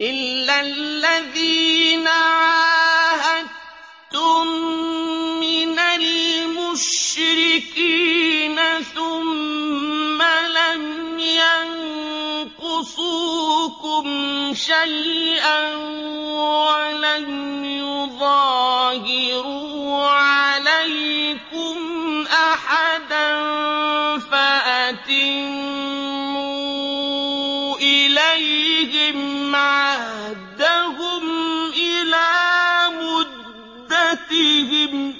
إِلَّا الَّذِينَ عَاهَدتُّم مِّنَ الْمُشْرِكِينَ ثُمَّ لَمْ يَنقُصُوكُمْ شَيْئًا وَلَمْ يُظَاهِرُوا عَلَيْكُمْ أَحَدًا فَأَتِمُّوا إِلَيْهِمْ عَهْدَهُمْ إِلَىٰ مُدَّتِهِمْ ۚ